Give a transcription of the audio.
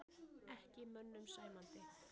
Ekki mönnum sæmandi